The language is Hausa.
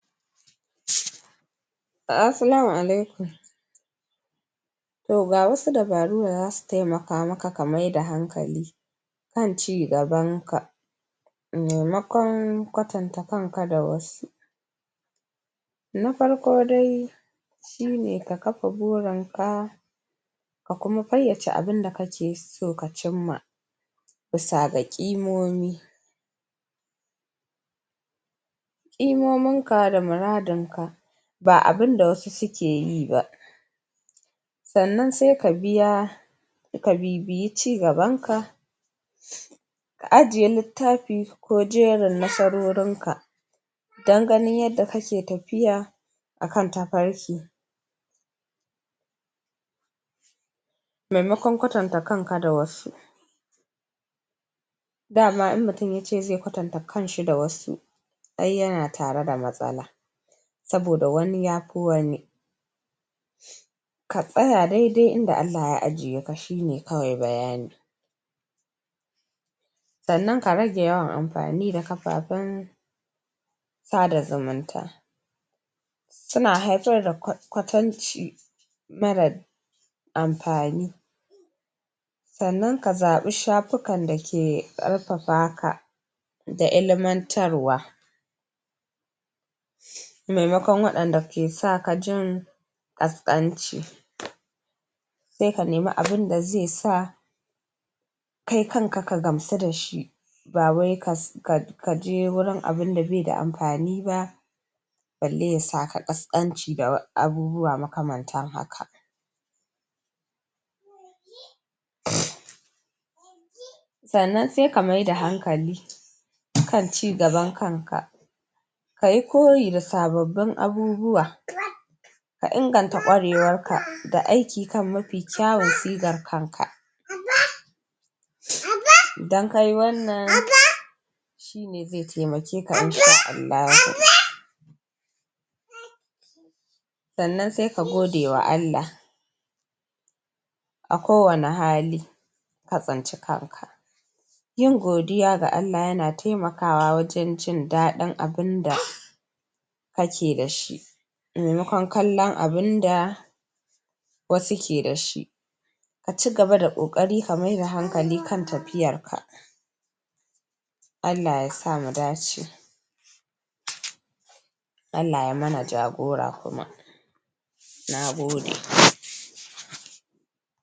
Assalamu alaikum to gawasu dabaru da zasu temakamaka kamaida hankali kan ci gabanka memakon kwatanta kanka da wasu na farko dai shine ka kafa burinka ka kuma faiyace abun da kake so ka cimma busa ga ƙimomi ƙi mominka da muradin ka ba abinda wasu sukeyiba sannan se kabiya ka bibiyi ci gabanka ka ajjiye littafi ko jerin nasarorinka dan ganin yanda kake tafiya akan tafarki memakon kwatanta kanka da wasu dama idan mutun yace ze kwatanta kanshi da wasu ai yana tare da matsala saboda wani yafi wani ka tsaya dedai inda Allah ya ijjiyeka shine kawai bayani sannan karage yawan amfani da kafafan sa da zumunta suan haifar da kwatanci mara amfani sannan kazaba shafikan dake ƙarfafaka ka da ilimantarwa memakon waɗanda kesajin kaskanci se kanemi abun daze sa kai kanka kagamsu dashi ba wai kas ka kaje gurin abunda beda amfaniba balle yasaka ƙasƙanci da abubuwa makamantan haka sannan sekamaida hankali harkan ci gaban kanka kayi koyi da sababbin abubuwa ka inganta ƙwarewanka da aiki kan mafi kyawon sigan kanka sannan se gode wa Allah ako wane hali ka tsinci kanka yin godiya ga Allah yana temaka kawa wajen jin daɗin abun da kake dashi me makon kallon abunda wasu kedashi kaci gaba da ƙoƙari kamai da hakali kan tafiyarka Allah yasa mudace Allah yaimana jagora kuma nagode